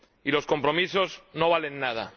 Y los compromisos no valen nada.